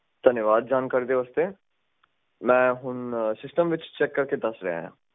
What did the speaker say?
ਧੰਨਵਾਦ ਜਾਣਕਾਰੀ ਦੇ ਵਾਸਤੇ ਮੈਂ ਹੁਣ ਸਿਸਟਮ ਵਿੱਚ ਚੈੱਕ ਕਰਕੇ ਦੱਸ ਰਿਹਾ ਆ